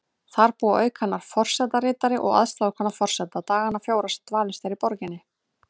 Þar búa auk hennar forsetaritari og aðstoðarkona forseta dagana fjóra sem dvalist er í borginni.